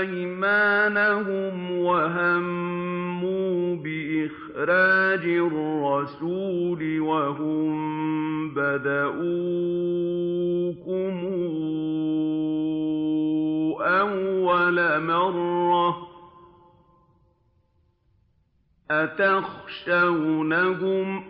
أَيْمَانَهُمْ وَهَمُّوا بِإِخْرَاجِ الرَّسُولِ وَهُم بَدَءُوكُمْ أَوَّلَ مَرَّةٍ ۚ أَتَخْشَوْنَهُمْ ۚ